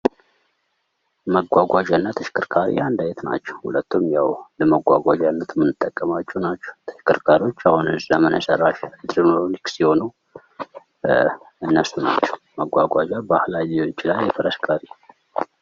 መጓጓዣ እና ተሽከርካሪ አንድ አይነት ናቸው ። ሁለቱም የው ለመጓጓዣነት ምንጠቀማቸው ናቸው ። ተሽከርካሪዎች አሁን ዘመነ ሰራሽ ኤሌትሮኒክስ የሆኑ እነሱ ናቸው ። መጓጓዣ ባህላዊ ሊሆን ይችላል የፈረስ ።